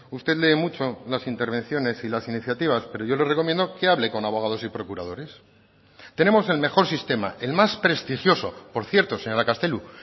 usted lee mucho las intervenciones y las iniciativas pero yo le recomiendo que hable con abogados y procuradores tenemos el mejor sistema el más prestigioso por cierto señora castelo